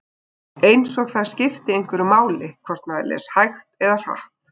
Eins og það skipti einhverju máli hvort maður les hægt eða hratt.